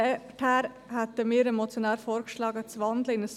Deshalb schlagen wir dem Motionär vor, in ein Postulat zu wandeln.